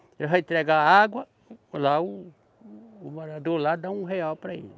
Ele vai entregar água, lá o, o morador lá dá um real para ele.